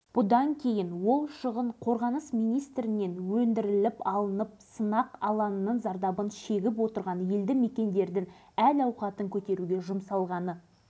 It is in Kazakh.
сондықтан бұл мәселе таяу арада республикамыздың парламентінде шұғыл түрде қаралып қазақ жоғарғы кеңесінің жанынан семей полигонының тигізген шығынын